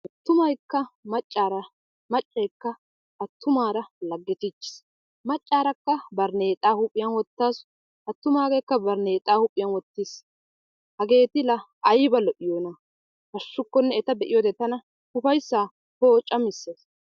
Attumayikka maccaara maccayikka attumaara laggetiichis. Maccaarakka barneexaa huuphiyan wottasu attumaageekka barneexa huuphiyan wottis. Hageeti la ayiiba lo"iyoona! Hashshukkonne eta be"iyoode tana upayisaa poocammisees.